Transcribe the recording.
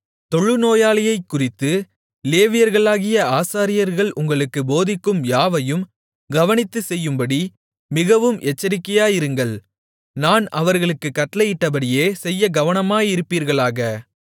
தொழுநோயைக்குறித்து லேவியர்களாகிய ஆசாரியர்கள் உங்களுக்குப் போதிக்கும் யாவையும் கவனித்துச் செய்யும்படி மிகவும் எச்சரிக்கையாயிருங்கள் நான் அவர்களுக்குக் கட்டளையிட்டபடியே செய்யக் கவனமாயிருப்பீர்களாக